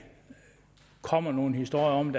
kommer nogen historier om